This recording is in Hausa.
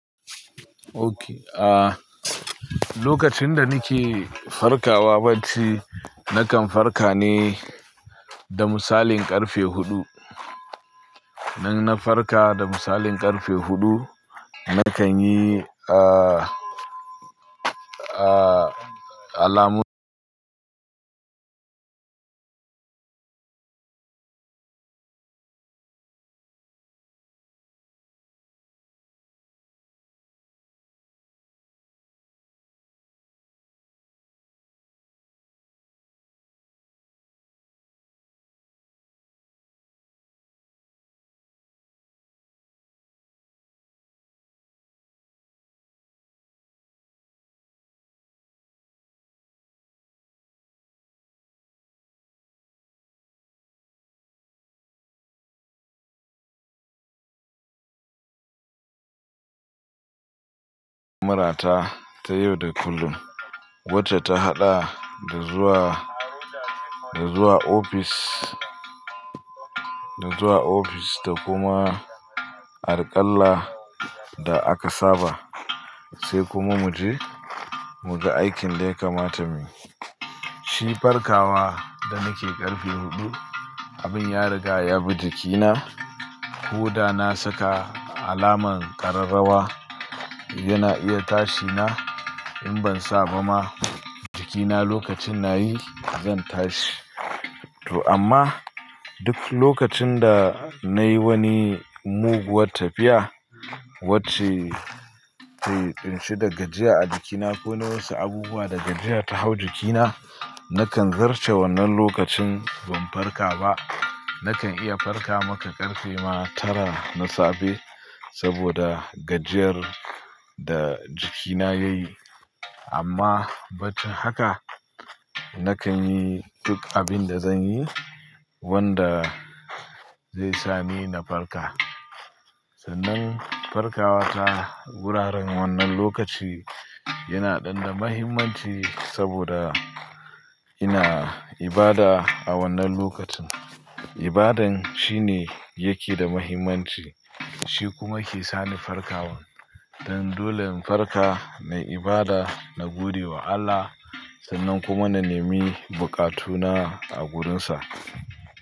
Okay, ah, lokacin da nake farkawa bacci, nakan farka ne da misalin karfe hudu. Nan na farka da misalin karfe hudu, nakan yi, ah, ah, alamun. Murata ta yau da kullum, wacce ta haɗa da zuwa, da zuwa ofis, da zuwa ofis da kuma alƙalla da aka saba, sai kuma muje, muga aikin da ya kamata muyi. Shi farkawa da nake karfe hudu, abin ya riga ya bi jikina. Koda na saka alamar kararrawa, yana iya tashi na. In ban saba ma, jikina lokacin nayi, zan tashi. To amma duk lokacin da nayi wani muguwar tafiya, wacce ke kunshe da gajiya a jikina ko nawasu abubuwa da gajiya ta hau jikina, nakan zarce wannan lokacin ban farka ba. Nakan iya farka maka karfe ma tara na safe saboda gajiyar da jikina yayi. Amma bacci haka, nakan yi duk abin da zan yi wanda zai sa ni na farka. Sannan farkawa ta wuraren wannan lokaci yana da muhimmanci saboda ina ibada a wannan lokacin. Ibadan shine yake da muhimmanci, shi kuma ke sani farkawa. Dan dole in farka, na ibada, na gode wa Allah sannan kuma na nemi buƙatuna a wurinsa.